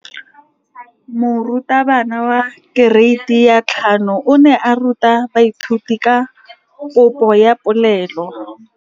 Moratabana wa kereiti ya 5 o ne a ruta baithuti ka popô ya polelô.